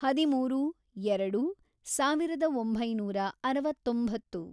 ಹದಿಮೂರು, ಎರೆಡು, ಸಾವಿರದ ಒಂಬೈನೂರ ಅರವತ್ತೊಂಬತ್ತು